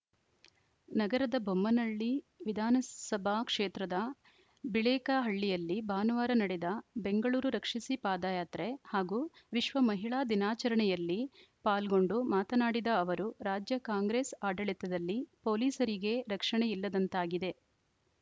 ನಗರದ ಬೊಮ್ಮನಹಳ್ಳಿ ವಿಧಾನಸಭಾ ಕ್ಷೇತ್ರದ ಬಿಳೇಕಹಳ್ಳಿಯಲ್ಲಿ ಭಾನುವಾರ ನಡೆದ ಬೆಂಗಳೂರು ರಕ್ಷಿಸಿ ಪಾದಯಾತ್ರೆ ಹಾಗೂ ವಿಶ್ವ ಮಹಿಳಾ ದಿನಾಚರಣೆಯಲ್ಲಿ ಪಾಲ್ಗೊಂಡು ಮಾತನಾಡಿದ ಅವರು ರಾಜ್ಯ ಕಾಂಗ್ರೆಸ್‌ ಆಡಳಿತದಲ್ಲಿ ಪೊಲೀಸರಿಗೇ ರಕ್ಷಣೆ ಇಲ್ಲದಂತಾಗಿದೆ